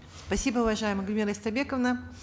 спасибо уважаемая гульмира истайбековна